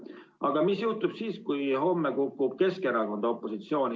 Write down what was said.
Aga mis juhtub siis, kui homme kukub Keskerakond opositsiooni?